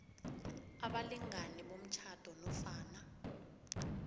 abalingani bomtjhado nofana